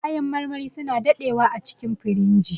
Kayan marmari suna daɗewa acikin firinji.